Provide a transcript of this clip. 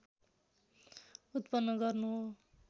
उत्पन्न गर्नु हो